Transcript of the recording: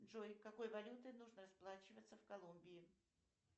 джой какой валютой нужно расплачиваться в колумбии